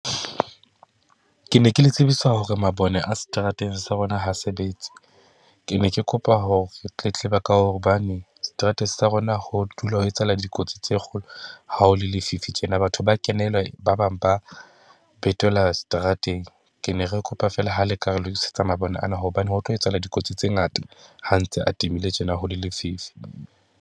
Ke ne ke le tsebisa hore mabone a seterateng sa rona ha sebetse, ke ne ke kopa ho tletleba, ka hobane seterateng sa rona ho dula ho etsahala dikotsi tse kgolo. Ha ho le lefifi tjena. Batho ba a kenelwa, ba bang ba betelwa seterateng. Ke ne re kopa fela ha le ka re lokisetsa mabone ana hobane ho tlo etsahala dikotsi tse ngata, ha ntse a timile tjena ho le lefifi.